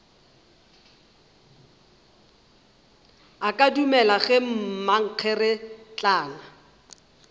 a ka dumelago ge mankgeretlana